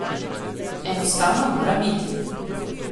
Enostavno mora biti.